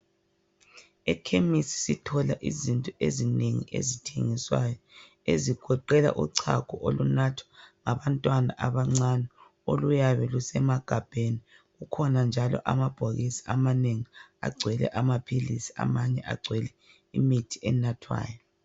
Ekhemisi sithola izinto ezinengi ezithengiswayo, ezigoqela uchago olunathwa ngabantwana abancane oluyabe lusemagabheni, kukhona njalo amabhokisi amanengi agcwele amaphilizi amanye agcwele imithi enathwayo.